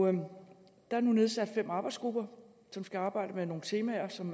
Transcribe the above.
er nu nedsat fem arbejdsgrupper som skal arbejde med nogle temaer som